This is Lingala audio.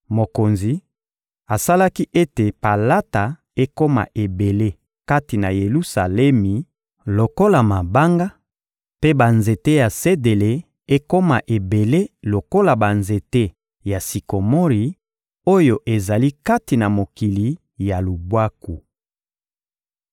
Mokonzi asalaki ete palata ekoma ebele kati na Yelusalemi lokola mabanga, mpe banzete ya sedele ekoma ebele lokola banzete ya sikomori oyo ezali kati na mokili ya lubwaku.